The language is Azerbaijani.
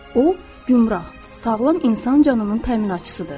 O, gümrah, sağlam insan canının təminatçısıdır.